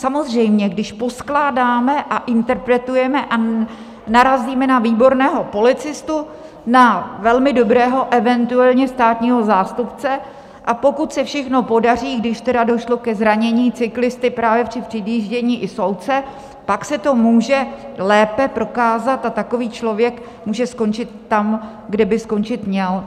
Samozřejmě, když poskládáme a interpretujeme a narazíme na výborného policistu, na velmi dobrého eventuálně státního zástupce, a pokud se všechno podaří, když tedy došlo ke zranění cyklisty právě při předjíždění, i soudce, pak se to může lépe prokázat a takový člověk může skončit tam, kde by skončit měl.